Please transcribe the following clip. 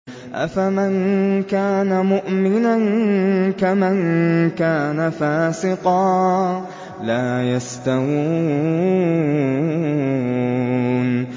أَفَمَن كَانَ مُؤْمِنًا كَمَن كَانَ فَاسِقًا ۚ لَّا يَسْتَوُونَ